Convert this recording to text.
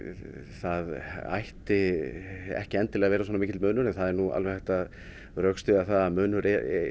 það ætti ekki endilega að vera svona mikill munur en það er nú alveg hægt að rökstyðja að munur